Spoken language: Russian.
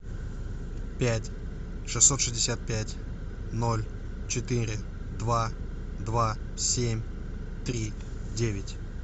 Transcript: пять шестьсот шестьдесят пять ноль четыре два два семь три девять